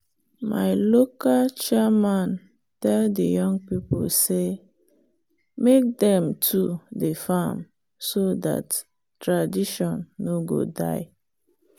our local chairman tell the young people say make dem too dey farm so dat tradition no go die.